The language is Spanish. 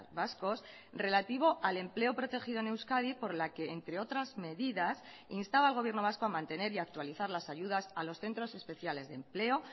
vascos relativo al empleo protegido en euskadi por la que entre otras medidas instaba al gobierno vasco a mantener y a actualizar las ayudas a los centros especiales de empleo